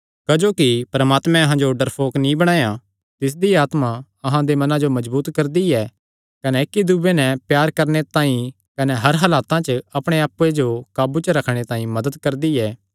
क्जोकि परमात्मैं अहां जो डरफोक नीं बणाया तिसदी आत्मा अहां दे मनां जो मजबूत करदी ऐ कने इक्की दूये नैं प्यार करणे तांई कने हर हालता च अपणे आप्पे जो काबू च रखणे तांई मदत करदी ऐ